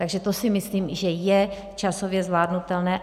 Takže to si myslím, že je časově zvládnutelné.